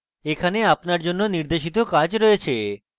এখানে আপনার জন্য নির্দেশিত কাজ রয়েছে